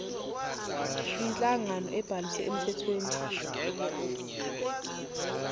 inhlangano ebhaliswe emthethweni